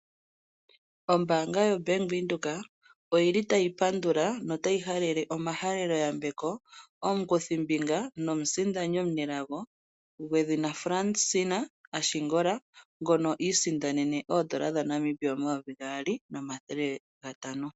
Ombaanga yobank Windhoek otayi pandula nokugandja omahaleloyambeko komu kuthimbinga nomusindani omunelago gwedhina Fransina Ashingola ngono iisindanene oondola dhaNamibia 2500.00.